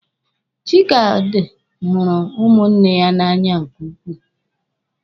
Chikaodi hụrụ ụmụnne ya n'anya nke ukwuu.